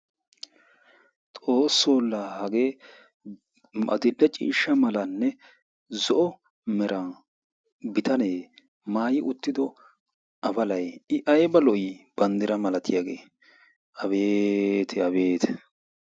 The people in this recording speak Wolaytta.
Xoossoo la hagee adill"e ciishsha malanne zo"o meran bitanee maayi uttido afalayi i ayba lo"ii? Banddira malatiyagee Abeeti! Abeeti!